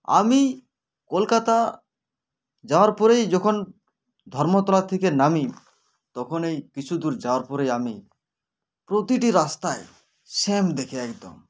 আমি কলকাতা যাওয়ার পরেই যখন ধর্মতলা থেকে নামি তখনেই কিছু দূর যাওয়ার পরেই আমি প্রতিটি রাস্তাই same দেখি একদম